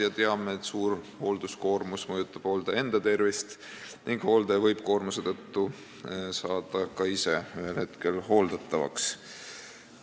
Me teame, et suur hoolduskoormus mõjutab hooldaja enda tervist ning hooldaja võib koormuse tõttu saada ka ise ühel hetkel hooldatavaks.